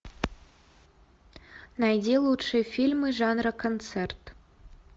найди лучшие фильмы жанра концерт